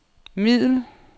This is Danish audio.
middel